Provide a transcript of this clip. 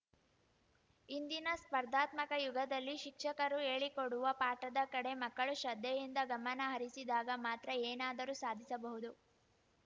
ಇಂದಿನ ಸ್ಪರ್ಧಾತ್ಮಕ ಯುಗದಲ್ಲಿ ಶಿಕ್ಷಕರು ಹೇಳಿಕೊಡುವ ಪಾಠದ ಕಡೆ ಮಕ್ಕಳು ಶ್ರದ್ಧೆಯಿಂದ ಗಮನ ಹರಿಸಿದಾಗ ಮಾತ್ರ ಏನಾದರೂ ಸಾಧಿಸಬಹುದು